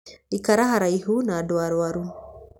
Ikara haraihu na andũ arwaru.